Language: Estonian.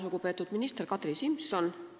Lugupeetud minister Kadri Simson!